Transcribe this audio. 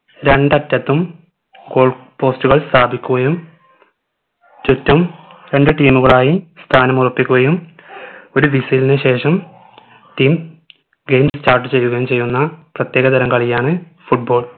രണ്ടറ്റത്തും goalpost കൾ സ്ഥാപിക്കുകയും ചുറ്റും രണ്ടു team കളായി സ്ഥാന മുറപ്പിക്കുകയും ഒരു vissle നു ശേഷം team game start ചെയ്യുകയും ചെയ്യുന്ന പ്രത്യേക തരം കളിയാണ് football